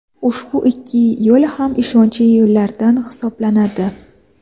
Ushbu ikki yo‘l ham ishonchli yo‘llardan hisoblanadi.